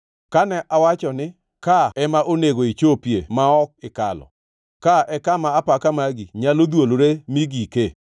Kane awacho ni, ‘Ka ema onego ichopie ma ok ikalo; ka e kama apaka magi nyalo dhwolore mi gike’?